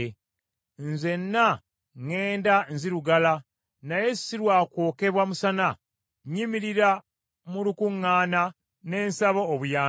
Nzenna ŋŋenda nzirugala naye si lwa kwokebwa musana; nnyimirira mu lukuŋŋaana, ne nsaba obuyambi.